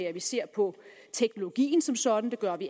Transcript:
at vi ser på teknologien som sådan det gør vi